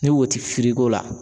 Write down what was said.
Ni wo ti la